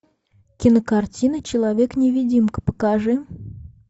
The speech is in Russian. кинокартина человек невидимка покажи